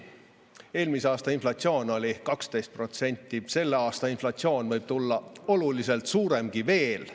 Eelmise aasta inflatsioon oli 12%, selle aasta inflatsioon võib tulla oluliselt suuremgi veel.